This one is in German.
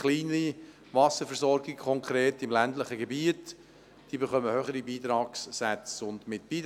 Konkret heisst das, dass kleinere Wasserversorgungen im ländlichen Gebiet höhere Beitragssätze erhalten.